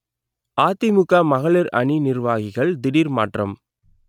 அதிமுக மகளிர் அணி நிர்வாகிகள் திடீர் மாற்றம்